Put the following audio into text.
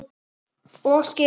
Og skyrið!